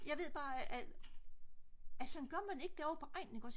jeg ved bare at sådan gør man ikke derovre på egnen